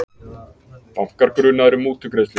Bankar grunaðir um mútugreiðslur